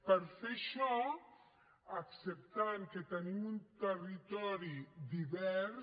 per fer això acceptant que tenim un territori divers